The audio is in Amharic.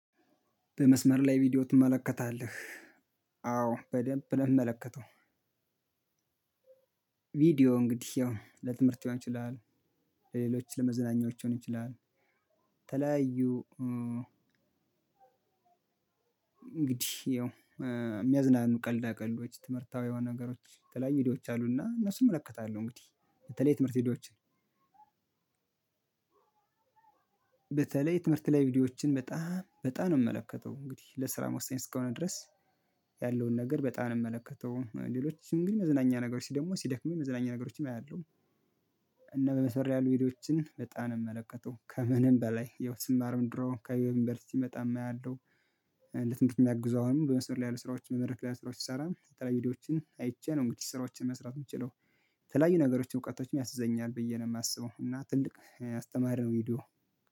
በመስመር ላይ ቪዲዮ ትመለከታለህ? አዎ በደንብ ነው የምመለከተው። ቪዲዮ እንግዲህ ያው ለትምህርት ሊሆን ይችላል። ለሌሎች ለመዝናኛዎች ሊሆን ይችላል። ለተለያዩ። እንግዲህ ያው የሚያዝናኑ ቀልዳ ቀልዶች ትምህርታዊ የሆኑ ነገሮች የተለያዩ ቪዲዮዎች አሉና እነሱን እመለከታለሁ። እንግዲህ በተለይ ትምህርት ቪዲዮዎችን። በተለይ ትምህርት ላይ ቪዲዮዎችን በጣም በጣም ነው የምመለከተው እንግዲህ ለስራም ወሳኝ እስከሆነ ድረስ ያለውን ነገር በጣም ነው የምመለከተው። ሌሎችን ግን መዝናኛ ነገሮች ደግሞ ሲደክመኝ መዝናኛ ነገሮችን አያለሁ። እና በመስመር ላይ ያሉ ቪዲዮዎችን በጣም ነው የምመለከተው። ከምንም በላይ ያው ስማርም ድሮ ከዩንቨርስቲ ስመጣም አያለሁ። ለትምህርት የሚያግዙ አሁንም በመስመር ላይ ያሉ ስራዎችን በመድረክ ላይ ያሉ ስራዎችን ስሰራ የተለያዩ ቪዲዮዎችን አይቼ ነው እንግዲህ ስራዎችን መስራት የምችለው። የተለያዩ ነገሮችን እውቀቶችን ያግዘኛል ብዬ ነው የማስበው። እና ትልቅ አስተማሪ ነው ቪዶዮ